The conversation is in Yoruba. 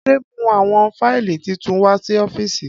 Ade mu awọn fáìlì titun wa si ọ́fíìsì.